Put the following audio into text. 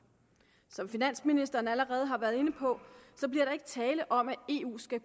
som finansministeren allerede har været inde på bliver der ikke tale om at eu skal